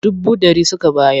Dubu ɗari suka bayar.